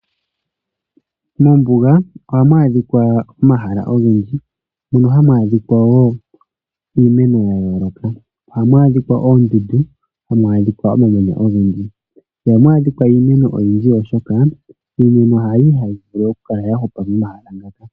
Mombuga ohamu adhika omahala ogendji mono hamu adhika wo iimeno ya yooloka ohamu adhika wo omamanya ogendji ihamu adhika iimeno oyindji oshoka iimeno hayindji hayi vulu oku hupa mehala muka.